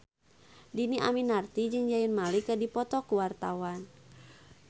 Dhini Aminarti jeung Zayn Malik keur dipoto ku wartawan